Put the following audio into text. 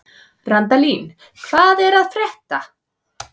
Randalín, hvað er að frétta?